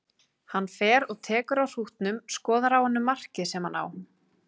Hann fer og tekur á hrútnum, skoðar á honum markið sem hann á.